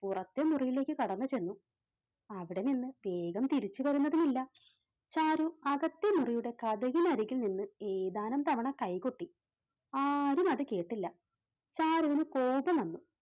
പുറത്തെ മുറിയിലേക്ക് കടന്നു ചെന്നു. അവിടെനിന്ന് വേഗം തിരിച്ചു വരുന്നതുമില്ല ചാരു അകത്തെ മുറിയുടെ കതകിന് അടിയിൽ നിന്ന് ഏതാനും തവണ കൈകൊട്ടി ആരും അത് കേട്ടില്ല ചാരുവിന് കോപം വന്നു.